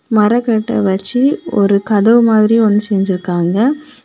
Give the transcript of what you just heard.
மரக்கட்ட வச்சு ஒரு கதவு மாதிரி ஒன்னு செஞ்சிருக்காங்க.